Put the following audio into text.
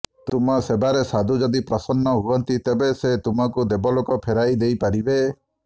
ତୁମ ସେବାରେ ସାଧୁ ଯଦି ପ୍ରସନ୍ନ ହୁଅନ୍ତି ତେବେ ସେ ତୁମକୁ ଦେବଲୋକ ଫେରାଇ ଦେଇ ପାରିବେ